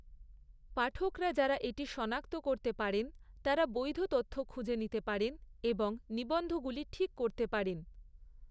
পাঠকরা যারা এটি সনাক্ত করতে পারেন তারা বৈধ তথ্য খুঁজে নিতে পারেন এবং নিবন্ধগুলি ঠিক করতে পারেন৷